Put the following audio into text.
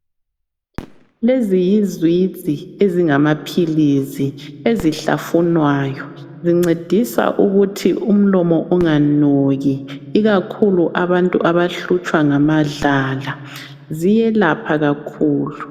Lezi yisiwiji ezingamaphilisi ezihlafunwayo. Zincedisa ukuthi umlomo unganuki ikakhulu abantu abahlutshwa ngamadlala. Ziyelapha kakhulu.